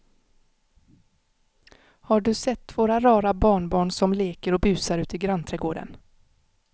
Har du sett våra rara barnbarn som leker och busar ute i grannträdgården!